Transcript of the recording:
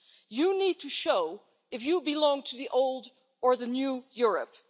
You need to show if you belong to the old or the new Europe.